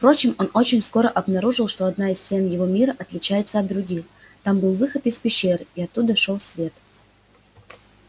впрочем он очень скоро обнаружил что одна из стен его мира отличается от других там был выход из пещеры и оттуда шёл свет